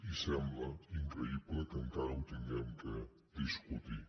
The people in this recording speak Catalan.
i sembla increïble que encara ho hàgim de discutir